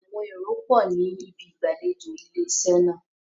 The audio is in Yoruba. Àwọn èrò pọ̀ ní ibi ìgbàlejò ilé iṣẹ́ náà.